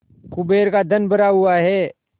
कुबेर का धन भरा हुआ है